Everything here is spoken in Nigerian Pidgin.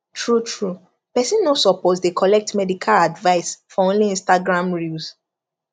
truetrue person no suppose dey collect medical advice for only instagram reels